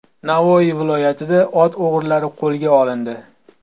Navoiy viloyatida ot o‘g‘rilari qo‘lga olindi.